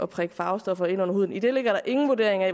prikket farvestoffer ind under huden i det ligger der ingen vurdering af